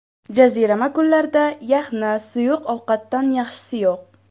Jazirama kunlarda yaxna suyuq ovqatdan yaxshisi yo‘q.